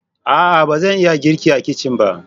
A'a! ba zan iya girki a kicin ba.